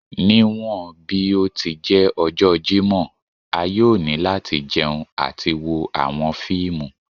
Niwọn bi o ti jẹ ọjọ Jimọ a yoo ni lati jẹun ati wo awọn fiimu